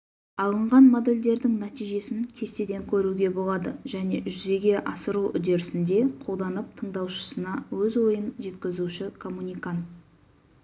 алынған модельдердің нәтижесін кестеден көруге болады жүзеге асыру үдерісінде қолданып тыңдаушысына өз ойын жеткізуші коммуникант